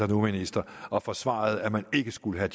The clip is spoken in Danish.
nu er minister og forsvarede at man ikke skulle have